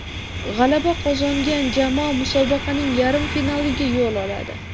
G‘alaba qozongan jamoa musobaqaning yarim finaliga yo‘l oladi.